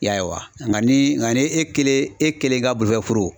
I ya ye wa nka ni nka ni e kelen e kelen ka bolofɛn fɔrɔ.